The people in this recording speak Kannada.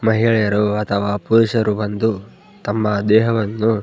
ಮಹಿಳೆಯರು ಅಥವಾ ಪುರುಷರು ಬಂದು ತಮ್ಮ ದೇಹವನ್ನು --